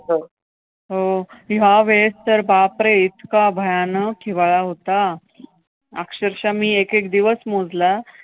हो हो! ह्या वेळेस तर बापरे! इतका भयानक हिवाळा होता, अक्षरशः मी एकेक दिवस मोजला.